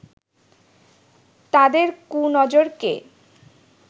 তাদের 'কুনজর'কে